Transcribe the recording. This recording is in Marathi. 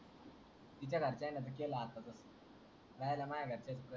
हिच्या घरच्यांनी च केलं आता तर कांला माझ्या घरच्यांना